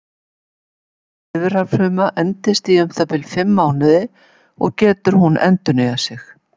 Lifrarfruma endist í um það bil fimm mánuði og getur hún endurnýjað sig.